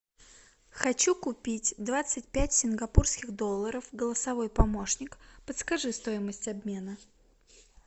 хочу купить двадцать пять сингапурских долларов голосовой помощник подскажи стоимость обмена